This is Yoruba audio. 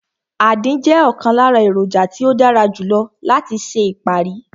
Àdín jẹ́ ọ̀kan lára èròjà tí ó dára jù lọ láti ṣe ìparí